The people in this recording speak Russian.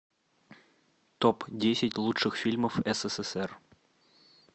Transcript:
топ десять лучших фильмов ссср